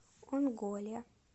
онголе